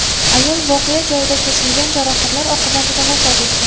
Ayol voqea joyida, kesilgan jarohatlar oqibatida vafot etgan.